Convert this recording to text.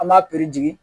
An b'a piri jigin